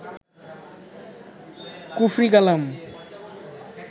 কুফরি কালাম